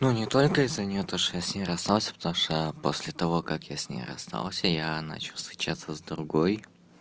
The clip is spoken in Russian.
не только из-за неё то что я с ней расстался потому что после того как я с ней расстался я начал встречаться с другой